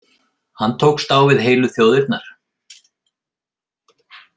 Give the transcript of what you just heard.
Hann tókst á við heilu þjóðirnar.